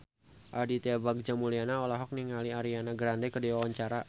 Aditya Bagja Mulyana olohok ningali Ariana Grande keur diwawancara